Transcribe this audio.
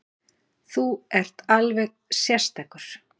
Þú ert alveg sérstakur!